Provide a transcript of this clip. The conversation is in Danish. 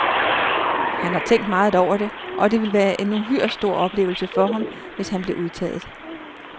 Han har tænkt meget over det, og det ville være en uhyre stor oplevelse for ham, hvis han blev udtaget.